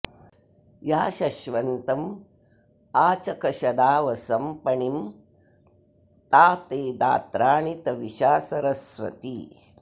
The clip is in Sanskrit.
या शश्वन्तमाचखशदावसं पणिं ता ते दात्राणि तविषा सरस्वती